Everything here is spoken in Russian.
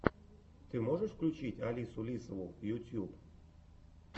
ты можешь включить алису лисову ютьюб